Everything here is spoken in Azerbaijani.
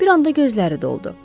Bir anda gözləri doldu.